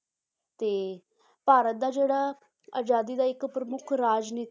ਤੇ ਭਾਰਤ ਦਾ ਜਿਹੜਾ ਅਜ਼ਾਦੀ ਦਾ ਇੱਕ ਪ੍ਰਮੁੱਖ ਰਾਜਨੀ~